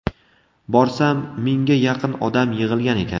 Borsam, mingga yaqin odam yig‘ilgan ekan.